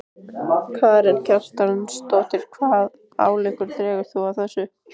Karen Kjartansdóttir: Hvaða ályktun dregur þú af þessu?